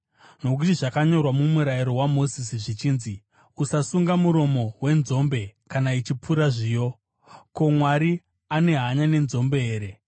Nokuti zvakanyorwa mumurayiro waMozisi, zvichinzi, “Usasunga muromo wenzombe kana ichipura zviyo.” Ko, Mwari ane hanya nenzombe here?